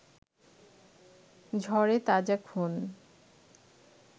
ঝরে তাজা খুন